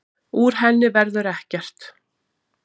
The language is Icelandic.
Úr henni verður ekkert.